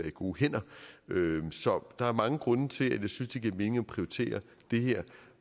i gode hænder så der er mange grunde til at jeg synes det giver mening at prioritere det her